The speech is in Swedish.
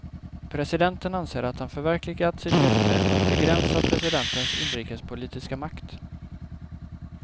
Presidenten anser att han förverkligat sitt löfte att begränsa presidentens inrikespolitiska makt.